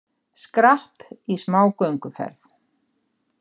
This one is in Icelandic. Skrapp í smá gönguferð